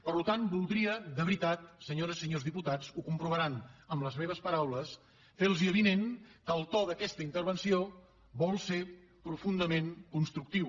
per tant voldria de veritat senyores i senyors diputats ho comprovaran amb les meves paraules fer los avinent que el to d’aquesta intervenció vol ser profundament constructiu